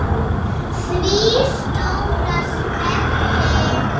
Því stóra svelli.